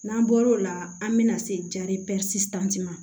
N'an bɔr'o la an bɛna se ma